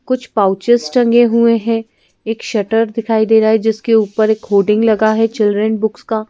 कुछ पाउचेज टंगे हुए हैं एक शटर दिखाई दे रहा है जिसके ऊपर एक होडिंग लगा है चिल्ड्रेन बुक्स का--